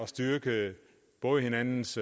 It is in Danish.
styrke både hinandens